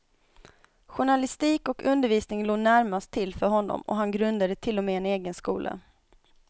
Journalistik och undervisning låg närmast till för honom, och han grundade till och med en egen skola.